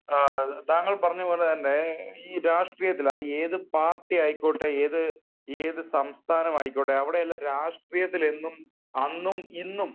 താങ്കൾ പറഞ്ഞപോലെ തന്നെ ഈ രാഷ്ട്രീയത്തിൽ അത് ഏത് പാർട്ടി ആയിക്കോട്ടെ ഏത് ഏത് സംസ്ഥാനമായിക്കോട്ടെ അവിടെയെല്ലാം രാഷ്ട്രീയത്തിൽ എന്നും അന്നും ഇന്നും